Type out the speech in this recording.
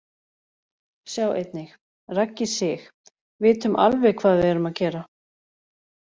Sjá einnig: Raggi Sig: Vitum alveg hvað við erum að gera